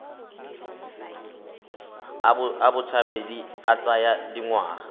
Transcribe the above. a botshabi a tsaya dingwaga